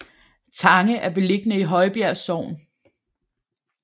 Tange er beliggende i Højbjerg Sogn